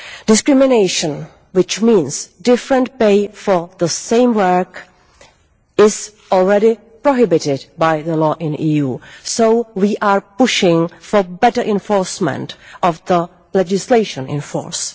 Discrimination, which means different pay for the same work, is already prohibited by EU law, so we are pushing for better enforcement of the legislation in force.